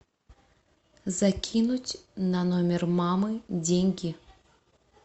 закинуть на номер мамы деньги